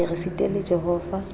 re ye re sitele jehova